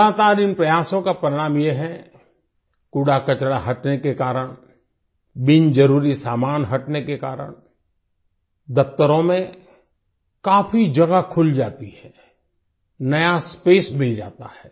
लगातार इन प्रयासों का परिणाम यह है कूड़ा कचरा हटने के कारण बिन जरुरी सामान हटने के कारण दफ्तरों में काफी जगह खुल जाती है नया स्पेस मिल जाता है